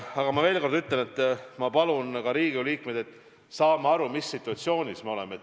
Aga ma veel kord ütlen, et ma palun ka Riigikogu liikmeid: palun saame aru, mis situatsioonis me oleme.